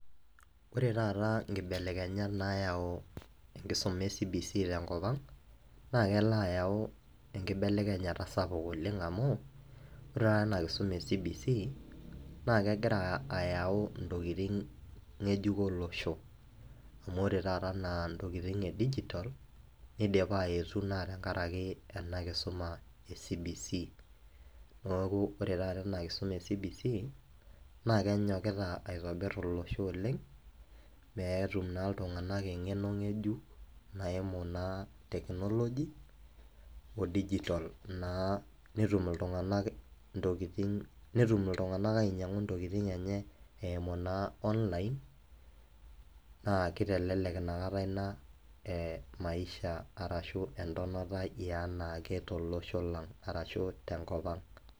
Ore taata inkibelekenyat nayau enkisuma e CS[CBC]CS te nkop ang naa kelo ayau enkibelekenyata sapuk amu ore taata ena kisuma e CS[CBC]CS naa kegira ayau intokiting ng'ejuko olosho amu ore taata anaa intokiting e CS[digital]CS nidipa aetu naa tenkaraki ena kisuma e CS[CBC]CS neeku ore taata ena kisuma e CS[CBC]CS naa kenyokita aitobir olosho oleng' peetum naa iltung'anak eng'eno ng'ejuk naimu naa CS[technology]CS oo CS[digital]CS netum iltung'anak ainyangu intokiting enye eimu naa CS[online]CS naa kitelelek nakata ina CS[maisha]CS arashu entonata ee anaake to losho lang arashu tenkop ang.